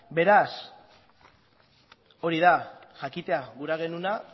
beraz hori da jakitea gura genuena